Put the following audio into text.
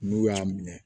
N'u y'a minɛ